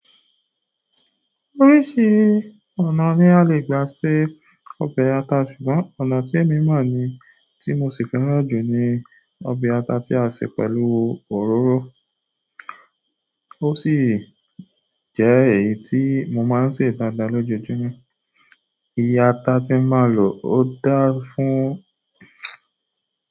Oríṣi ọ̀nà ni a lè gba se ọbẹ̀ ata ṣùgbọ́n ọ̀nà tí èmi mọ̀ ni tí mo sì fẹ́ràn jù ni ọbẹ̀ ata tí a se pẹ̀lú òróró. Ó sì jẹ́ èyí tí mo máa ń ṣe dáadáa lójoojúmọ́. Iye ata tí mo máa lò ó dáa fún.